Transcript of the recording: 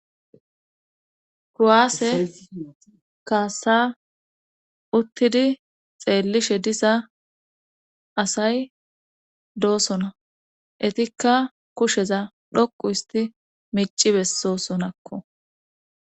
kuwaase kaasa uttidi xeellishe diza asay doosona etikka kusheza dhoqu isti mici bessosonakko